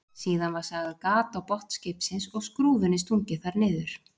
Síðan var sagað gat á botn skipsins og skrúfunni stungið þar niður.